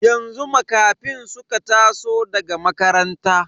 Yanzu Makafin suka taso daga makaranta.